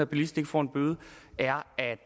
bilist ikke får en bøde er